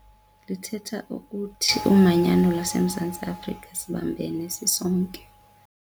Lithetha ukuthi, umanyano laseMzantsi Afrika sibambene sisonke.